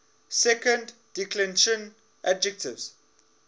second declension adjectives